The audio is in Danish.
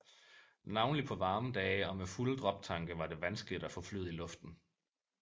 Navnlig på varme dage og med fulde droptanke var det vanskeligt at få flyet i luften